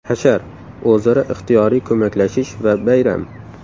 Hashar – o‘zaro ixtiyoriy ko‘maklashish va bayram.